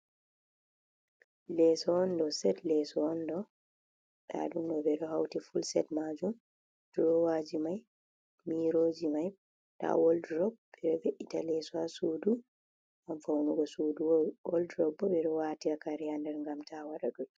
Leso on do. Set leso on do. Nda ɗum ɗo ɓeɗo hauti full set majum. drowaji mai, miroji mai, nda walldrob. Ɓeɗo ve'ita leso ha sudu ngam faunugo sudu. walldrop bo ɓeɗo waate kare ha nder ngam ta wada dotti.